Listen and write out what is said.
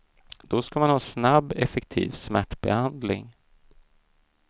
Då ska man ha snabb, effektiv smärtbehandling.